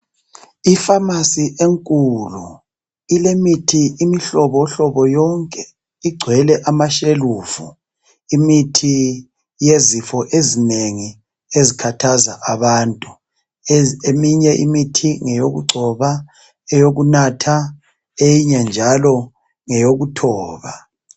Ifamasi enkulu ilemithi imihlobo hlobo yonke igcwele amashelufu imithi yezifo ezinengi ezikhathaza abantu eminye imithi ngeyokugcoba eyokunatha eyinye njalo ngeyokuthoba.